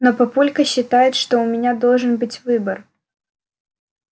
но папулька считает что у меня должен быть выбор